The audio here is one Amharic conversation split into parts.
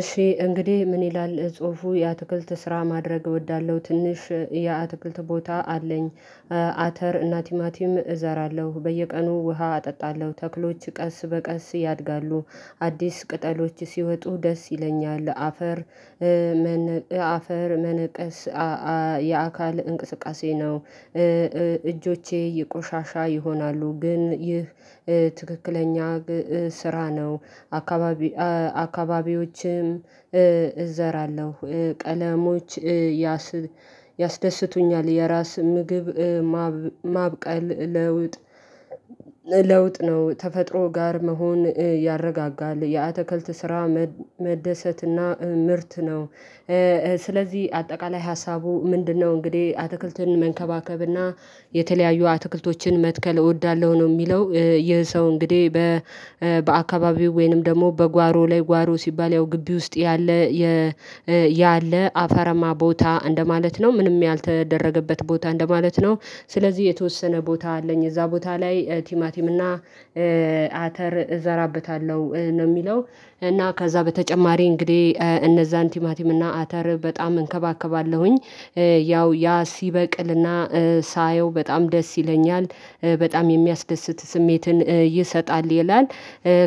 እሺ እንግዲህ ምን ይላል ጽሁፉ የአትክልት ስራ ማድረግ እወዳለሁ ትንሽ የአትክልት ቦታ አለኝ። አተር እና ቲማቲም እዘራለሁ በየቀኑ ውሃ አጠጣለሁ ተክሎች ቀስ በቀስ ያድጋሉ አዲስ ቅጠሎች ሲወጡ ደስ ይለኛል። አፈር መን አፈር መነቀስ አአ የአካል እንቅስቃሴ ነው። እእጆቼ ይቆሻሻ ይሆናሉ ግን ይህ ትክክለኛ ስራ ነው። አካባቢ አ አካባቢዎችም እዘራለሁ። ቀለሞች ያስደ ያስደስቱኛል የራስ ምግብ ማብማብቀል ለውጥ። ለውጥ ነው ተፈጥሮ ጋር መሆን ያረጋጋል የአትክልት ስራ መደሰትና ምርት ነው። ስለዚህ አጠቃላይ ሀሳቡ ምንድነው? እንግዲህ አትክልትን መንከባከብና የተለያዩ አትክልቶችን መትከል እወዳለሁ ነው። የሚለው ይህ ሰው እንግዲህ በ በአካባቢው ወይንም ደግሞ በጓሮ ላይ ጓሮ ሲባል ያው ግቢ ውስጥ ያለ ያለ አፈረማ ቦታ እንደማለት ነው ምንም ያልተደረገበት ቦታ እንደማለት ነው። ስለዚህ የተወሰነ ቦታ አለኝ እዛ ቦታ ላይ ቲማቲም እና አ አተር እዘራበታለሁ ነው የሚለው። እና ከዛ በተጨማሪ እንግዲህ እነዛን ቲማቲም እና አተር በጣም እንከባከባለሁኝ። ያው ያ ሲበቅልና ሳየው በጣም ደስ ይለኛል በጣም የሚያስደስት ስሜትን ይሰጣል ይላል።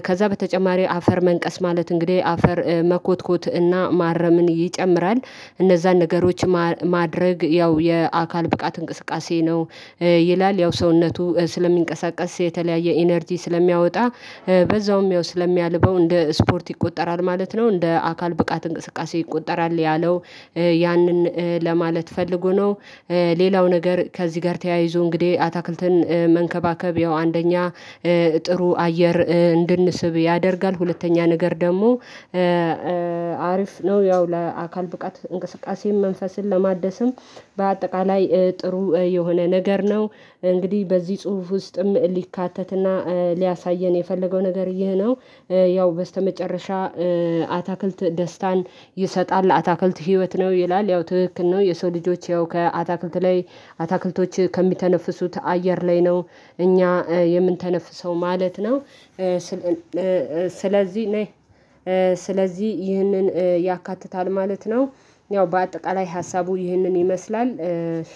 ከዛ በተጨማሪ አፈር መንቀስ ማለት እንግዲህ አፈር መኮትኮት እና ማረምን ይጨምራል። እነዛን ነገሮች ማር ማድረግ ያው የአካል ብቃት እንቅስቃሴ ነው። ይላል ያው ሰውነቱ ስለሚንቀሳቀስ የተለያየ ኢነርጂ ስለሚያወጣ በዛውም ያው ስለሚያልበው እንደ ስፖርት ይቆጠራል ማለት ነው። እንደ አካል ብቃት እንቅስቃሴ ይቆጠራል ያለው ያንን ለማለት ፈልጎ ነው። ሌላው ነገር ከዚህ ጋር ተያይዞ እንግዲህ አታክልትን መንከባከብ ያው አንደኛ ጥሩ አየር እንድንስብ ያደርጋል። ሁለተኛ ነገር ደግሞ አሪፍ ነው። ያው ለአካል ብቃት እንቅስቃሴም መንፈስን ለማደስም በአጠቃላይ ጥሩ የሆነ ነገር ነው። እንግዲህ በዚህ ጽሁፍ ውስጥም ሊካተትና ሊያሳየን የፈለገው ነገር ይሄ ነው። ያው በስተመጨረሻ አታክልት ደስታን ይሰጣል አታክልት ህይወት ነው ይላል ያው ትክክል ነው። የሰው ልጆች ያው ከአታክልት ላይ አታክልቶች ከሚተነፍሱት አየር ላይ ነው እኛ የምንተነፍሰው ማለት ነው። ስለ ለ ስለዚህ ነይ። ስለዚህ ይህንን ያካትታል ማለት ነው። ያው በአጠቃላይ ሀሳቡ ይህንን ይመስላል። እሺ